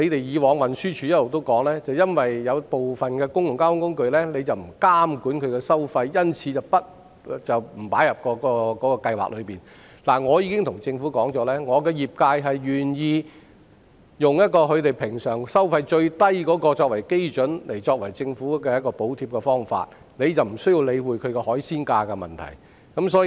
過往運輸署指出，由於部分公共交通工具的收費不受當局監管，因而沒有把它們納入相關計劃，但我已向政府反映，業界願意用平日最低收費作為政府補貼的基準，就不用理會"海鮮價"的問題。